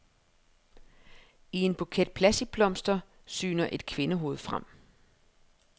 I en buket plastikblomster syner et kvindehoved frem.